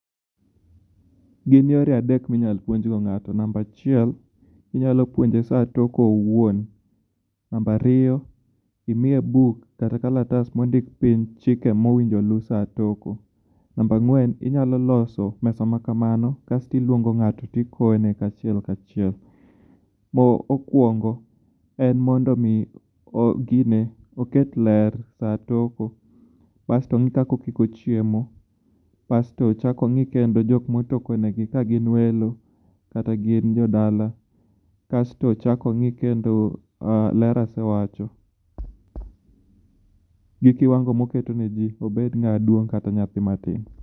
Gin yore adek mi nyalo puonj go ngato number achiel i nyalo puonje saa toko owuon number ariyo imiye book kata kalatas ma ondiki piny chike ma onego lu sach toko number agwen inyalo loso mesa ma kamano kasto iluongo ngato to i kone achiel ka achiel mo kwongo en ni mondo o ket ler sach toko bas onge kaka okiko chiemo bas to ongi joma otoko ne gi ka gin welo kata gin jo dala kasto ochak o ngi kendo ler asewacho gi ki wango ma oketo ne ji obed ngama duong kata nyathi ma tin.